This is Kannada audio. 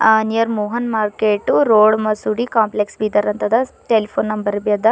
ಆ ನಿಯರ್ ಮೋಹನ್ ಮಾರ್ಕೆಟ್ ರೋಡ್ ಮಸೀದಿ ಕಾಂಪ್ಲೇಕ್ಸ್ ಬೀದರ್ ಅಂತದ ಟೆಲಿಫೋನ್ ನಂಬರ್ ಬಿ ಅದ.